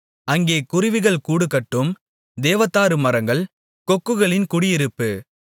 அங்கே குருவிகள் கூடுகட்டும் தேவதாருமரங்கள் கொக்குகளின் குடியிருப்பு